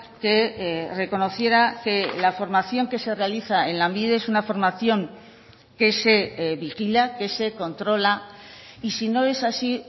que reconociera que la formación que se realiza en lanbide es una formación que se vigila que se controla y si no es así